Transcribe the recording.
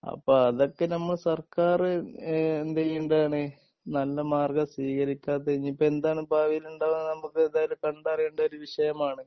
അപ്പോ അതൊക്കെ നമ്മൾ സർക്കാര് ഏഹ് എന്ത് ചെയ്യേണ്ടതാണ് നല്ല മാർഗം സ്വീകരിക്കാതെ ഇനി ഇപ്പം എന്താണ് ഭാവിയിലുണ്ടാവുക എന്ന് നമുക്ക് എന്തായാലും കണ്ടറിയേണ്ട ഒരു വിഷയമാണ്